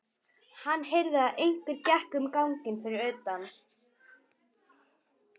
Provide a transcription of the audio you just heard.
Hann heyrði að einhver gekk um ganginn fyrir utan.